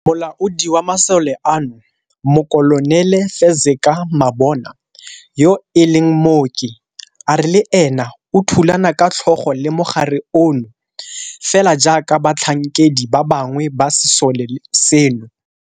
Molaodi wa masole ano, Mokolonele Fezeka Mabona, yo e leng mooki, a re le ena o thulana ka tlhogo le mogare ono fela jaaka batlhankedi ba bangwe ba sesole seno.